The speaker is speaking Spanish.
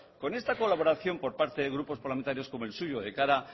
claro con esta colaboración por parte de grupos parlamentarios como el suyo de cara